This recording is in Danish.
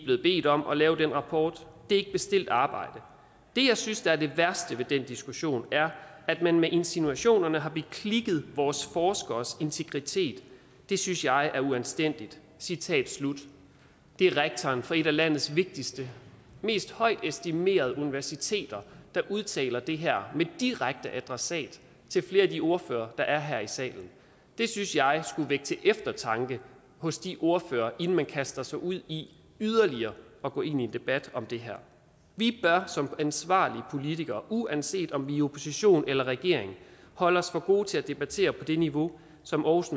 blevet bedt om at lave den rapport det er ikke bestilt arbejde det jeg synes der er det værste ved den diskussion er at man med insinuationerne har beklikket vores forskeres integritet det synes jeg er uanstændigt citat slut det er rektoren for et af landets vigtigste mest estimerede universiteter der udtaler det her med direkte adressat til flere af de ordførere der er her i salen det synes jeg skulle vække til eftertanke hos de ordførere inden man kaster sig ud i yderligere at gå ind i en debat om det her vi bør som ansvarlige politikere uanset om i opposition eller i regering holde os for gode til at debattere på det niveau som aarhus